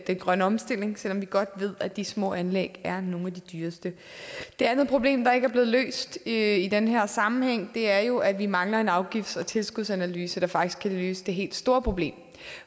grønne omstilling selv om vi godt ved at de små anlæg er nogle af de dyreste det andet problem der ikke er blevet løst i den her sammenhæng er jo at vi mangler en afgifts og tilskudsanalyse der faktisk kan løse det helt store problem